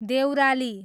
Deurali